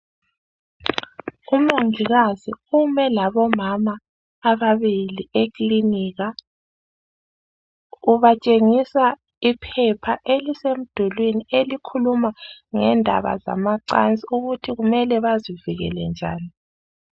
Umongikazi ume labomama ababili ekilinika ubatshengisa iphepha elisemdulwini elikhuluma ngendaba zamacansi ukuthi kumele bazivikele njani.